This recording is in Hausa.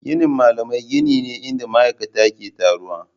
Ginin malamai gini ne inda ma'aikata ke taruwa.